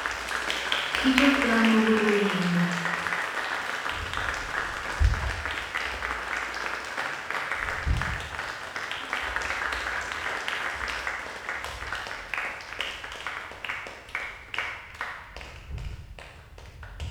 Kichoptoi ano koroi en gaa